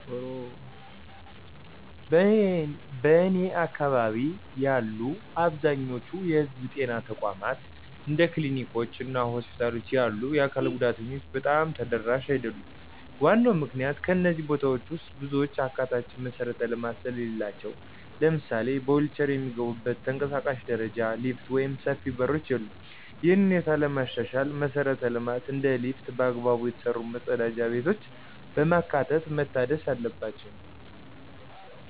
በእኔ አካባቢ ያሉ አብዛኛዎቹ የህዝብ ጤና ተቋማት እንደ ክሊኒኮች እና ሆስፒታሎች ያሉ የአካል ጉዳተኞች በጣም ተደራሽ አይደሉም። ዋናው ምክንያት ከእነዚህ ቦታዎች ውስጥ ብዙዎቹ አካታች መሠረተ ልማት ስለሌላቸው። ለምሳሌ በዊልቼር የሚገቡበት ተንቀሳቃሽ ደረጃ፣ ሊፍት ወይም ሰፊ በሮች የሉም። ይህንን ሁኔታ ለማሻሻል መሰረተ ልማቶችን እንደ ሊፍት እና በአግባቡ የተሰሩ መጸዳጃ ቤቶችን በማካተት መታደስ አለባቸው።